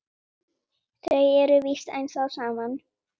Þau eru víst ennþá saman.